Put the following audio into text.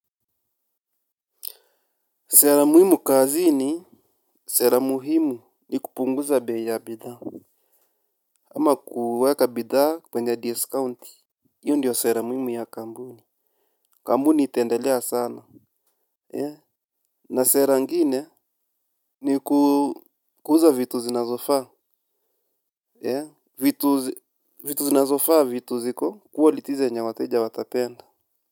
Sera muhimu kazi ni sera muhimu ni kupunguza bei ya bidhaa. Ama kuweka bidhaa kwenye discount hiyo ndiyo sera muhimu ya kampuni. Kampuni itaendelea sana. Na sera ingine ni kuuza vitu zinazofaa. Vitu zinazofaa vitu ziko quality zenyewateja watapenda.